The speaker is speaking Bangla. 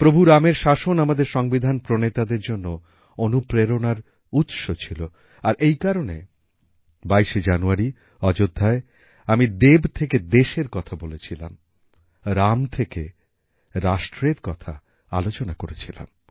প্রভু রামের শাসন আমাদের সংবিধান প্রণেতাদের জন্য অনুপ্রেরণার উৎস ছিল আর এই কারণে ২২শে জানুয়ারি অযোধ্যায় আমি দেব থেকে দেশএর কথা বলেছিলাম রাম থেকে রাষ্ট্রের কথা আলোচনা করেছিলাম